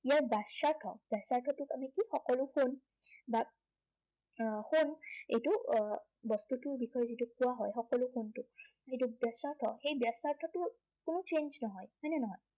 ইয়াৰ বাচ্য়াৰ্থ, বাচ্য়াৰ্থটোক আমি কি, সকলোতকৈ আহ এইটো আহ বস্তুটোৰ বিষয়ে যিটো কোৱা হয়, সকলো যিটো ব্য়াসাৰ্থ সেই ব্য়াসাৰ্থটো কোনো change নহয়, হয় নে নহয়?